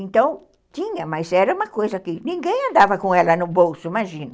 Então, tinha, mas era uma coisa que ninguém andava com ela no bolso, imagina.